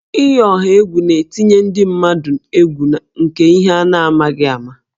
Iyi ọha egwu na-etinye ndị mmadụ egwu nke ihe a na-amaghị ama